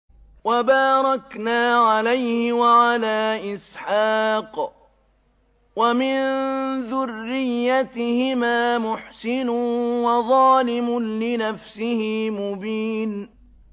وَبَارَكْنَا عَلَيْهِ وَعَلَىٰ إِسْحَاقَ ۚ وَمِن ذُرِّيَّتِهِمَا مُحْسِنٌ وَظَالِمٌ لِّنَفْسِهِ مُبِينٌ